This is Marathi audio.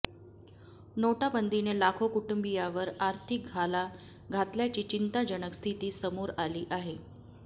नोटाबंदीने लाखो कुटुंबीयांवर आर्थिक घाला घातल्याची चिंताजनक स्थिती समोर आली आहे